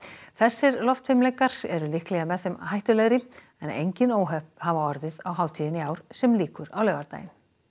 þessir loftfimleikar eru líklega með þeim hættulegri en engin óhöpp hafa orðið á hátíðinni í ár sem lýkur á laugardag